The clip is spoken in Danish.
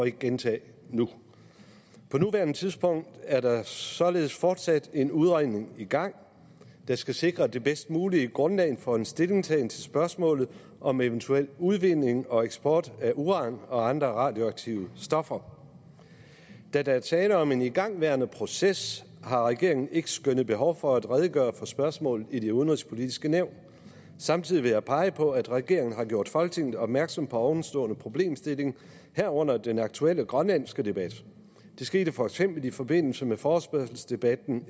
ikke gentage nu på nuværende tidspunkt er der således fortsat en udredning i gang der skal sikre det bedst mulige grundlag for en stillingtagen til spørgsmålet om eventuel udvinding og eksport af uran og andre radioaktive stoffer da der er tale om en igangværende proces har regeringen ikke skønnet behov for at redegøre for spørgsmålet i det udenrigspolitiske nævn samtidig vil jeg pege på at regeringen har gjort folketinget opmærksom på ovenstående problemstilling herunder den aktuelle grønlandske debat det skete for eksempel i forbindelse med forespørgselsdebatten